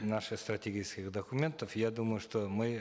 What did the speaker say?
наших стратегических документов я думаю что мы